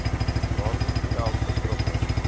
daardie geld betrokke